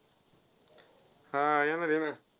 हा येणार येणार.